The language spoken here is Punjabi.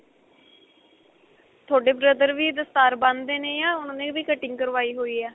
ਤੁਹਾਡੇ brother ਵੀ ਦਸਤਾਰ ਬੰਨਦੇ ਨੇ ਜਾਂ ਉਨ੍ਹਾਂ ਨੇ ਵੀ ਕਟਿੰਗ ਕਰਵਾਈ ਹੋਈ ਏ.